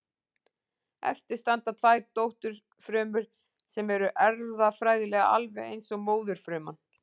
Eftir standa tvær dótturfrumur sem eru erfðafræðilega alveg eins og móðurfruman.